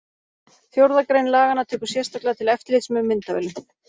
Fjórða grein laganna tekur sérstaklega til eftirlits með myndavélum.